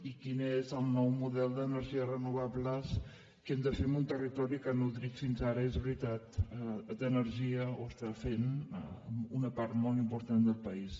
i quin és el nou model d’energies renovables que hem de fer en un territori que ha nodrit fins ara és veritat d’energia ho està fent una part molt important del país